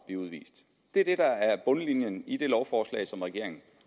blive udvist det er det der er bundlinjen i det lovforslag som regeringen